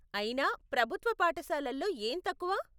అయినా, ప్రభుత్వ పాఠశాలల్లో ఏం తక్కువ?